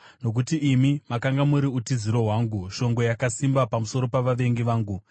Nokuti imi makanga muri utiziro hwangu, shongwe yakasimba pamusoro pavavengi vangu.